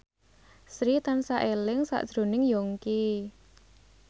Sri tansah eling sakjroning Yongki